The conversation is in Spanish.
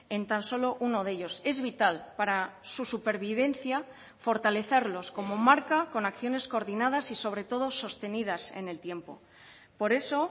en tan solo uno de ellos es vital para su supervivencia fortalecerlos como marca con acciones coordinadas y sobre todo sostenidas en el tiempo por eso